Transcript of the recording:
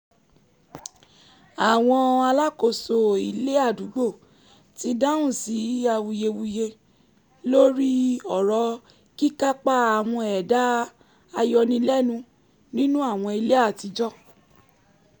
àwọn alákòóso ilé àdúgbò ti dáhùn sí awuyewuye lórí ọ̀rọ̀ kíkápá àwọn ẹ̀dá-ayọnilẹ́nu nínú àwọn ilé àtijọ́